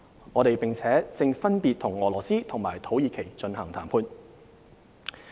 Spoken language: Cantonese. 我們並正分別與俄羅斯和土耳其進行談判。